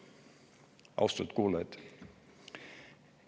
Austatud kuulajad!